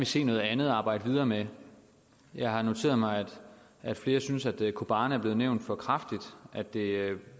se noget andet at arbejde videre med jeg har noteret mig at flere synes at kobane er blevet nævnt for kraftigt at det